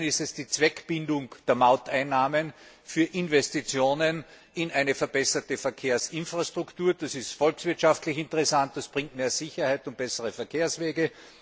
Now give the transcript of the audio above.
Zum einen ist es die Zweckbindung der Mauteinnahmen für Investitionen in eine verbesserte Verkehrsinfrastruktur, das ist volkswirtschaftlich interessant, das bringt mehr Sicherheit und bessere Verkehrswege.